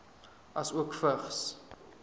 asook vigs